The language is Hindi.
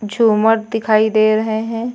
झूमर दिखाई दे रहे हैं।